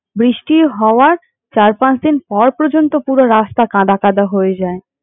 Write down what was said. বৃষ্টি হওয়ার চার-পাঁচ দিন পর পর্যন্ত পুরো রাস্তা কাদা কাদা হয়ে যায়।